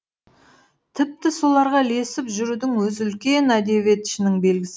тіпті соларға ілесіп жүрудің өзі үлкен әдебиетшінің белгісі